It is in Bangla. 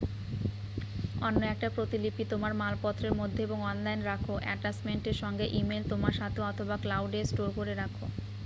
"অন্য একটা প্রতিলিপি তোমার মালপত্রের মধ্যে এবং অনলাইন রাখো অ্যাটাচমেন্ট এর সঙ্গে ইমেইল তোমার সাথে, অথবা "ক্লাউড" এ স্টোর করে রাখো ।